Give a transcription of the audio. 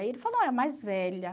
Aí ele falou, é a mais velha.